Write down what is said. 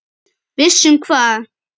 Viss um hvað?